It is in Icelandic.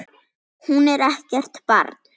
Hún er ekkert barn.